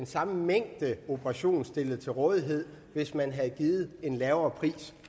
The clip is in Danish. samme mængde operationer stillet til rådighed hvis man havde givet en lavere pris